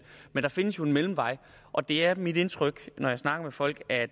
der findes jo en mellemvej og det er mit indtryk når jeg snakker med folk at